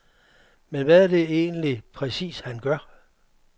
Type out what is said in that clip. Men hvad er det egentlig præcis han gør?